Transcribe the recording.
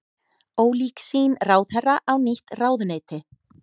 Ólík sýn ráðherra á nýtt ráðuneyti